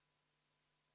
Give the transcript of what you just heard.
V a h e a e g